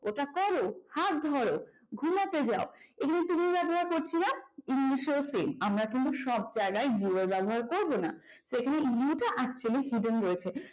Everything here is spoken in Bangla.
ওটা করো হাতটা ধরো ঘুমোতে যাও এগুলো তো তুমি ব্যবহার করছি না english এও same আমরা কিন্তু সব জায়গায় your ব্যবহার করব না এখানে you টা actually hidden রয়েছে